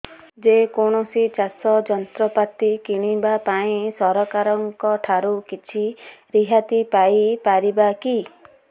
ଯେ କୌଣସି ଚାଷ ଯନ୍ତ୍ରପାତି କିଣିବା ପାଇଁ ସରକାରଙ୍କ ଠାରୁ କିଛି ରିହାତି ପାଇ ପାରିବା କି